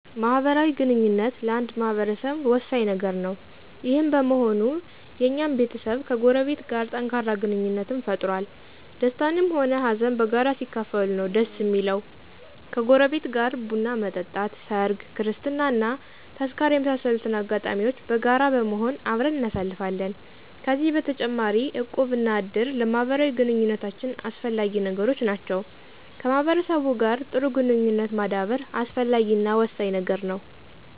ማህበራዊ ግንኙነት ለአንድ ማህበረሰብ ወሳኝ ነገር ነው። ይህም በመሆኑ የኛም ቤተሰብ ከጎረቤት ጋር ጠንካራ ግንኙነትን ፈጥሮአል። ደስታንም ሆነ ሃዘን በጋራ ሲካፈሉት ነው ደስ እሚለው። ከጎረቤት ጋር ቡን መጠጣት፣ ሰርግ፣ ክርስትና እና ተዝካር የመሳሰሉትን አጋጣሚዎች በጋራ በመሆን አብረን እናሳልፋለን። ከዚህ በተጨማሪ እቁብ እና እድር ለማህበራዊ ግንኙነታችን አስፈላጊ ነገሮች ናቸው። ከማህበረሰቡ ጋር ጥሩ ግንኙነት ማዳበር አስፈላጊ እና ወሳኝ ነገር ነው።